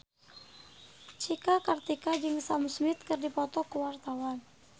Cika Kartika jeung Sam Smith keur dipoto ku wartawan